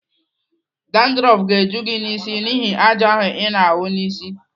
Dandrọf ga-eju gị n'isi n'ihi àjà ahụ ị na-awụ n'isi.